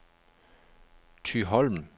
Thyholm